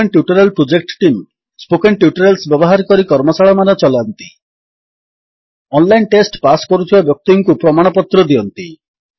spoken tutorial project team spoken tutorials ବ୍ୟବହାର କରି କର୍ମଶାଳାମାନ ଚଲାନ୍ତି ଅନଲାଇନ୍ ଟେଷ୍ଟ ପାସ୍ କରୁଥିବା ବ୍ୟକ୍ତିଙ୍କୁ ପ୍ରମାଣପତ୍ର ଦିଅନ୍ତି